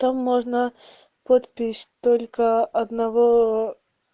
там можно подпись только одного ээ